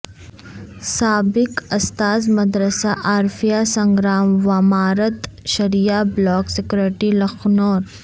سابق استاذمدرسہ عارفیہ سنگرام وامارت شرعیہ بلاک سکریٹری لکھنور